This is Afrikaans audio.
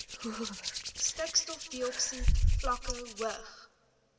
stikstofdioksied vlakke hoog